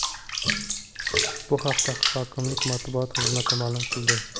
Bu haqda hokimlik matbuot xizmati ma’lum qildi .